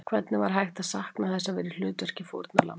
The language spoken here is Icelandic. Hvernig var hægt að sakna þess að vera í hlutverki fórnarlambs?